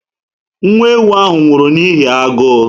Nwa ewu ahụ nwụrụ n'ihi agụụ